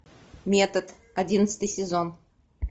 метод одиннадцатый сезон